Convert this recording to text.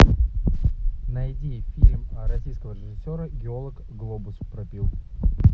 найди фильм российского режиссера геолог глобус пропил